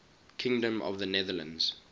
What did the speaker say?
kingdom of the netherlands